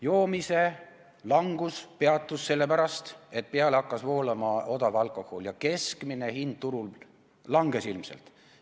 Joomise vähenemine peatus sellepärast, et peale hakkas voolama odav alkohol ja keskmine hind turul langes ilmselt.